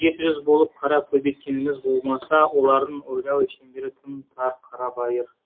жеті жүз болып қара көбейткеніміз болмаса олардың ойлау шеңбері тым тар қарабайыр